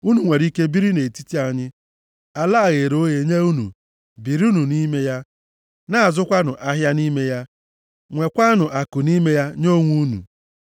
Unu nwere ike biri nʼetiti anyị. Ala a ghere oghe nye unu. Birinụ nʼime ya, na-azụkwanụ ahịa nʼime ya, nwekwanụ akụ nʼime ya nye onwe unu.”